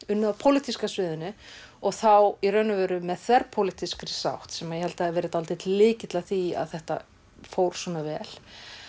unnið á pólitíska sviðinu og þá í raun og veru með þverpólitískri sátt sem ég held að hafi verið dálítill lykill að því að þetta fór svona vel